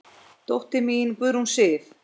Þín dóttir, Sigrún Sif.